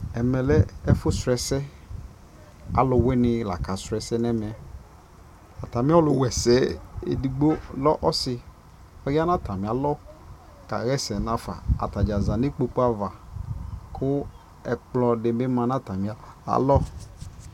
ɛmɛ lɛ ɛƒʋ srɔ ɛsɛ, alʋwini la ka srɔ ɛsɛ nʋ ɛmɛ, atami ɔlʋ wɛsɛ ɛdigbɔ lɛ ɔsii, ɔya nʋ atami alɔ ka yɛsɛ nʋ aƒã, atagya zanʋ ikpɔkʋ aɣa kʋ ɛkplɔ dibi manʋ atami alɔ